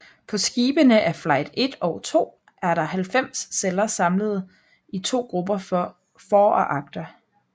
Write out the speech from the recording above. På skibene af Flight I og II er der 90 celler samlet i to grupper for og agter